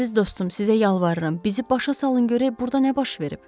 Əziz dostum, sizə yalvarıram, bizi başa salın görək burda nə baş verib?